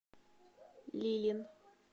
лилин